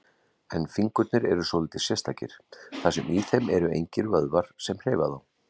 En fingurnir eru svolítið sérstakir, þar sem í þeim eru engir vöðvar sem hreyfa þá.